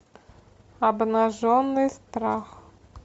обнаженный страх